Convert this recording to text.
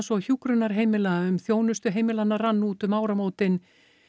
og hjúkrunarheimila um þjónustu heimilanna rann út um áramótin